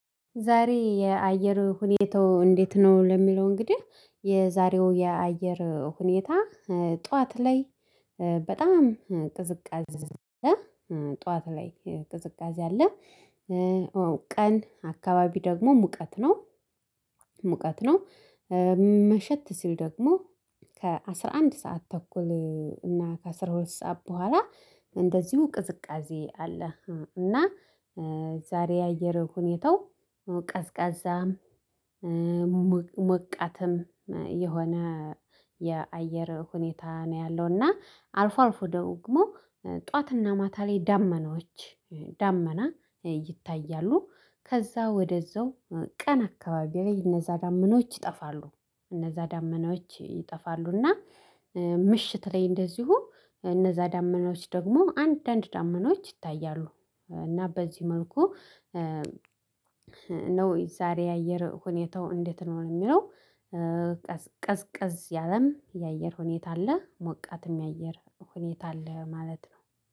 ዛሬ የአየር ሁኔታው እንዴት ነው? ለሚለው እንግዲህ የዛሬው የአየር ሁኔታ ጠዋት ላይ በጣም ቅዝቃዜ አለ ጠዋት ላይ ቅዝቃዜ አለ። ቀን አካባቢ ደግሞ ሙቀት ነው ሙቀት ነው። መሸት ሲል ደግሞ ከአስራ አንድ ሰዓት ተኩል እና ከአስራ ሁለት ሰዓት በኋላ እንደዚሁ ቅዝቃዜ አለ። እና ዛሬ የአየር ሁኔታው ቀዝቃዛ ሞቃትም የሆነ የአየር ሁኔታ ነው ያለው እና አልፎ አልፎ ደግሞ ጠዋትና ማታ ላይ ዳመኖች ዳመና ይታያሉ። ከዛ ወደዛው ቀን አካባቢ ላይ እነዛ ዳመናዎች ይጠፋሉ እነዛ ዳመናዎች ይጠፋሉና። ምሽት ላይ እንደዚሁ እነዛ ዳመናዎች ደግሞ አንዳንድ ዳመኖች ይታያሉ። እና በዚህ መልኩ ነው ዛሬ የአየር ሁኔታው እንዴት ነው የሚለው? ቀዝቀዝ ያለም የአየር ሁኔታ አለ ሞቃትም የአየር ሁኔታ አለ ማለት ነው።